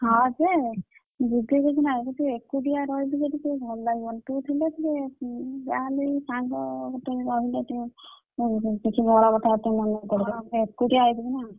ହଁ ଯେ ବୁଝିଲୁ କିଛି ନାଇ ମୁଁ ଯୋଉ ଏକୁଟିଆ ରହିବି ସେଠି ଭଲ ଲାଗିବନି ତୁ ଥିଲେ ଟିକେ ଉଁ ଯାହେଲେ ବି ସାଙ୍ଗ କିଛି ମୁଁ ଏକୁଟିଆ ହେଇଯିବି ନା।